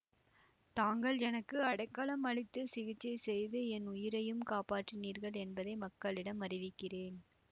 தாங்கள் எனக்கு அடைக்கலம் அளித்துச் சிகிச்சை செய்து என் உயிரையும் காப்பாற்றினீர்கள் என்பதை மக்களிடம் அறிவிக்கிறேன்